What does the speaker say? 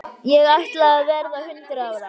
Ég ætla að verða hundrað ára.